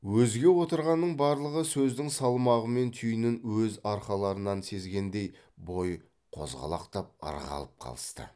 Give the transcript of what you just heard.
өзге отырғанның барлығы сөздің салмағымен түйінін өз арқаларынан сезгендей бой қозғалақтап ырғалып қалысты